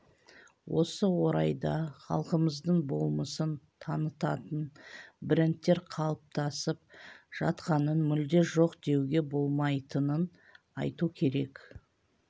осы орайда халқымыздың болмысын танытатын брендтер қалыптасып жатқанын мүлде жоқ деуге болмайтынын айту керек